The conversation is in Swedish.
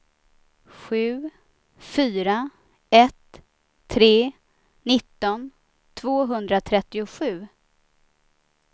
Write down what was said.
sju fyra ett tre nitton tvåhundratrettiosju